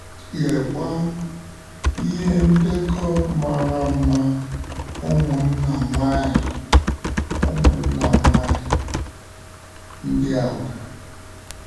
Leekwa, ihe ndekọ mara mma ụmụnna nwanyị ụmụnna nwanyị ndị a nwere!